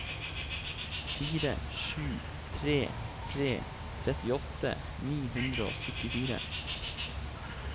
fire sju tre tre trettiåtte ni hundre og syttifire